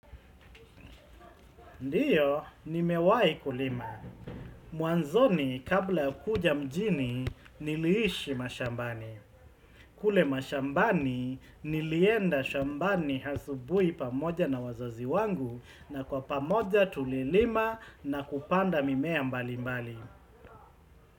Ndio, nimewai kulima. Mwanzoni kabla kuja mjini, niliishi mashambani. Kule mashambani, nilienda shambani asubuhi pamoja na wazazi wangu na kwa pamoja tulilima na kupanda mimea mbali mbali.